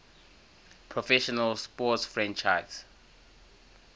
professional sports franchise